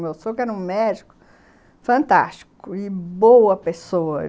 O meu sogro era um médico fantástico e boa pessoa.